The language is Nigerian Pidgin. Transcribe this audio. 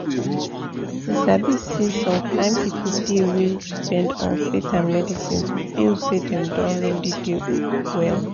you sabi say some kin people dey wey depend on faith and medicine to feel say dem don really dey well.